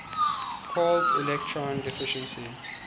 called electron deficiency